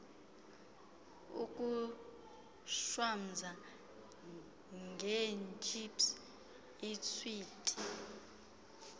ukushwamza ngeetships iiswiti